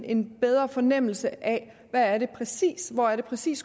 en bedre fornemmelse af hvor det præcis